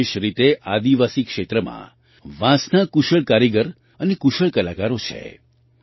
વિશેષ રીતે આદિવાસી ક્ષેત્રમાં વાંસના કુશળ કારીગર અને કુશળ કલાકારો છે